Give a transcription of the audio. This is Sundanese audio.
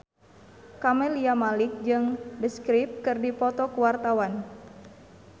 Camelia Malik jeung The Script keur dipoto ku wartawan